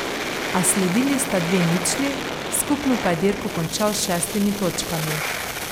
A sledili sta dve ničli, skupno pa je dirko končal s šestimi točkami.